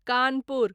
Kanpur